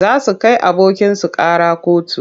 Za su kai abokinsu ƙara kotu.